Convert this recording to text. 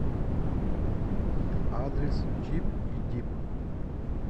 адрес чип и дип